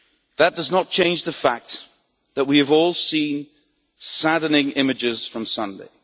That does not change the fact that we have all seen saddening images from Sunday.